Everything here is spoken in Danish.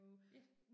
Ja